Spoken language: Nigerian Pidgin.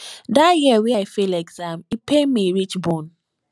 dat year wey i fail exam e pain me reach bone